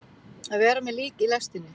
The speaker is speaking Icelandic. Að vera með lík í lestinni